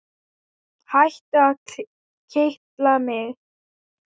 Hættu að kitla mig.